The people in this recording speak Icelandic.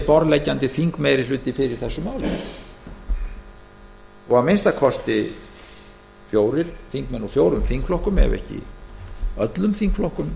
borðleggjandi þingmeirihluti sé fyrir þessu máli og að minnsta kosti þingmenn úr fjórum þingflokkum ef ekki öllum þingflokkum